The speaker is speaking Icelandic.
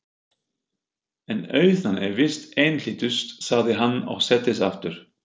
En auðnan er víst einhlítust, sagði hann og settist aftur.